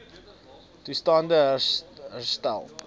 toestand e herstel